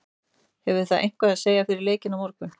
Hefur það eitthvað að segja fyrir leikinn á morgun?